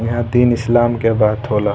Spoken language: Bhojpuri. यहाँ दिन इस्लाम के बात हो ला।